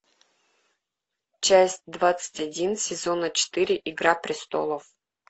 часть двадцать один сезона четыре игра престолов